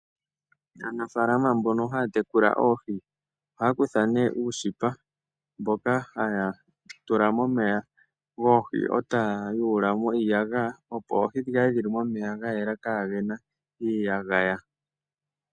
Aanafaalama mbono haya tekula oohi ohaya kutha nduno uushipa mboka haya tula momeya goohi e ta ya yuulamo iiyagaya opo oohi dhi kale dhi li momeya ga yela kaagena iiyagaya.